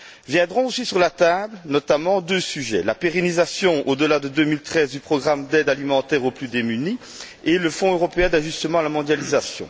Viendront aussi sur la table, notamment, deux sujets la pérennisation au delà de 2013 du programme d'aide alimentaire aux plus démunis et le Fonds européen d'ajustement à la mondialisation.